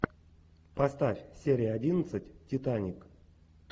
поставь серия одиннадцать титаник